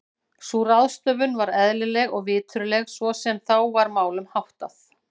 Sú ráðstöfun var eðlileg og viturleg svo sem þá var málum háttað.